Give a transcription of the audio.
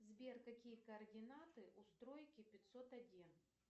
сбер какие координаты у стройки пятьсот один